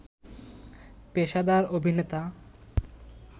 পেশাদার অভিনেতা